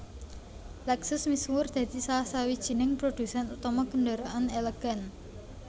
Lexus misuwur dadi salah sawijining prodhusèn utama kendaraan elegan